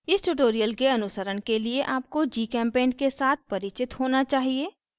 इस tutorial के अनुसरण के लिए आपको gchempaint के साथ परिचित होना चाहिए